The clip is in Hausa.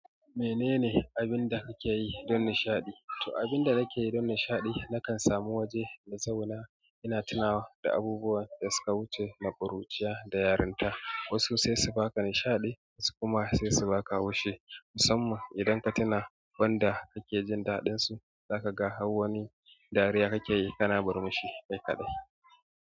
Menene abun da kakeyi don nishaɗi. To abun da nakeyi don nishaɗi nakan samu waje na zauna, ina tunawa da abubuwan da suka wuce da ƙuruciya da yarinta. Wasu sai su ba ka nishaɗi, wasu kuma sai su ba ka haushi. Musamman idan ka tuna wanda kake jin daɗin su, zaka ga hau wani dariya kake yi kana murmushi kai kaɗai.